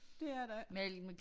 Det er der ikke